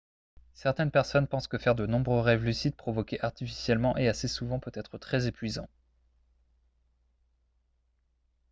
certaines personnes pensent que faire de nombreux rêves lucides provoqués artificiellement et assez souvent peut être très épuisant